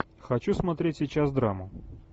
хочу смотреть сейчас драму